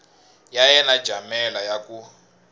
ya yena jamela ya ku